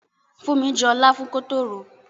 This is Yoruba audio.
Funmi jọ láfún kótó ròó.